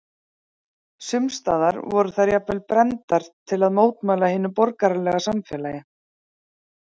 Sums staðar voru þær jafnvel brenndar til að mótmæla hinu borgaralega samfélagi.